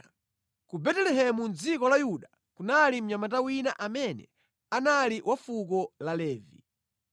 Ku Betelehemu mʼdziko la Yuda kunali mnyamata wina amene anali wa fuko la Levi.